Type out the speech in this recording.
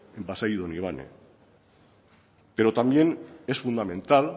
en pasaia y donibane pero también es fundamental